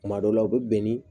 Kuma dɔw la u bɛ bɛn ni